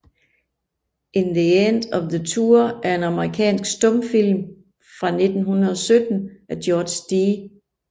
The End of the Tour er en amerikansk stumfilm fra 1917 af George D